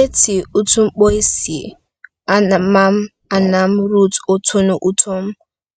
Eti uwụtn̄kpọ esie ama anam Ruth ọtọn̄ọ utom